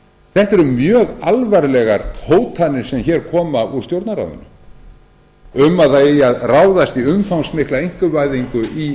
þetta eru mjög alvarlegar hótanir sem hér koma úr stjórnarráðinu um að það eigi að ráðast í umfangsmikla einkavæðingu í